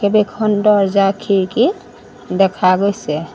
কেবেখন দৰ্জা খিৰিকী দেখা গৈছে।